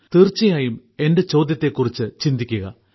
തീർച്ചയായും എന്റെ ചോദ്യത്തെക്കുറിച്ച് ചിന്തിക്കുക